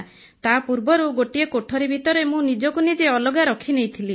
ତାପୂର୍ବରୁ ଗୋଟିଏ କୋଠରି ଭିତରେ ମୁଁ ନିଜକୁ ନିଜେ ଅଲଗା ରଖିନେଇଥିଲି